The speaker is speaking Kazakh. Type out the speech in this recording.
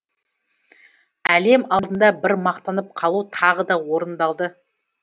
әлем алдында бір мақтанып қалу тағы да орындалды